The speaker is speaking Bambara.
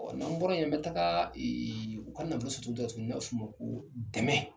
Ɔ n'an bɔra ye n bena taga eee u kan ka dɔ u n'an b'a f' o ma ko dɛmɛɛ